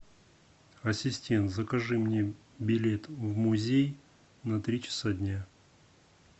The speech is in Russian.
ассистент закажи мне билет в музей на три часа дня